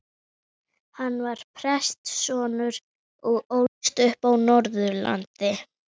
Hann var prestssonur og ólst upp á Norðurlandi.